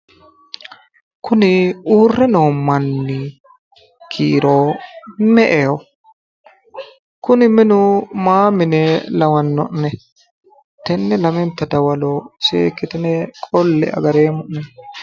Kuni uurre noo manni kiiro me'eho? Kuni minu mayi mine lawanno'ne? Tenne lamenta dawaro seekkitine qolle'e agareemmo'nena.